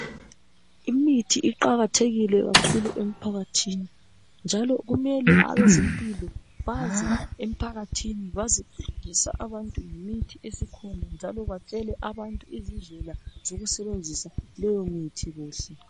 Imithi iqakathekile kakhulu emphakathini njalo kumele abezempilakahle baze emphakathini bazofundisa abantu ngemithi esikhona njalo batshele abantu izindlela zokusebenzisa leyo mithi kuhle.